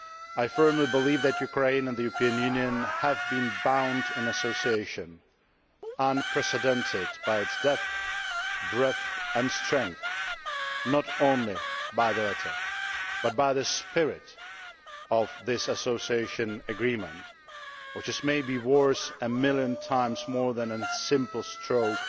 I firmly believe that Ukraine and the European Union have been bound in association unprecedented by its depth, breadth, and strength not only by the letter, but by the spirit of this Association Agreement, which is maybe worth a million times more than a simple stroke